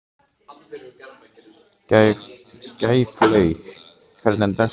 Gæflaug, hvernig er dagskráin?